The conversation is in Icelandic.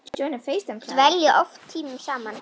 Dvelja oft tímunum saman í